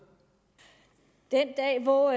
hvor